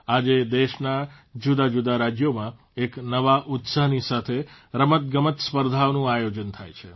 આજે દેશના જુદાજુદા રાજયોમાં એક નવા ઉત્સાહની સાથે રમતગમત સ્પર્ધાઓનું આયોજન થાય છે